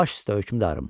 Baş üstə hökmdarım.